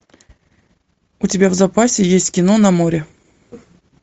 у тебя в запасе есть кино на море